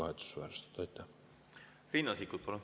Riina Sikkut, palun!